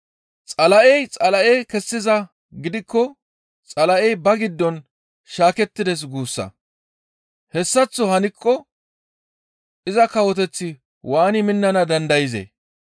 Xala7ey Xala7e kessizaa gidikko Xala7ey ba giddon shaakettides guussa. Hessaththo hankko iza kawoteththi waani minnana dandayzee?